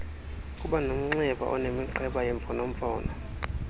kubanomnxeba onemiqheba yemfonomfono